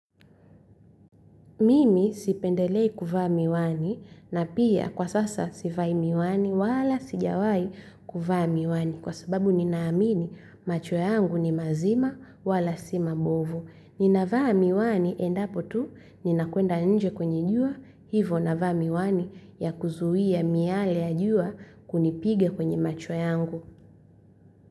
Mimi sipendelei kuvaa miwani na pia kwa sasa sivai miwani wala sijawahi kuvaa miwani, kwa sababu ninaamini macho yangu ni mazima wala si mabovu. Ninavaa miwani endapo tu ninakwenda nje kwenye jua, hivo navaa miwani ya kuzuia miale ya jua kunipiga kwenye macho yangu.